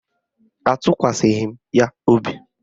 Atụkwasịghị m ya obi